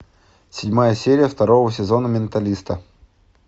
седьмая серия второго сезона менталиста